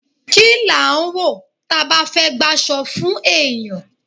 Ki n lá ń wọ, taba ba fé gbaso fun eyán?